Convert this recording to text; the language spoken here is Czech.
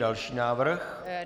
Další návrh?